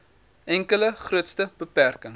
enkele grootste beperking